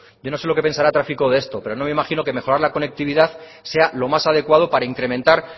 yo no sé lo que pensará tráfico de esto pero no me imagino que mejorar la conectividad sea lo más adecuado para incrementar